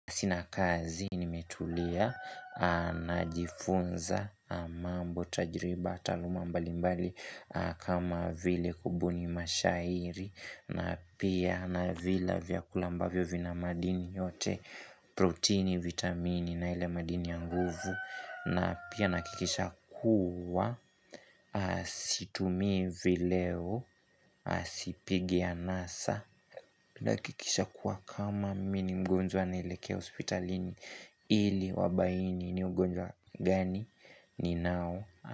Sina kazi nimetulia najifunza mambo, tajiriba, taaluma mbalimbali kama vile kubuni mashairi na pia navila vyakula ambavyo vina madini yote, protini, vitamini na ile madini ya nguvu na pia nahakikisha kuwa situmi vileo, sipigi anasa nahakikisha kuwa kama mimi ni mgonjwa naelekea hospitalini ili wabaini ni ugonjwa gani ninao.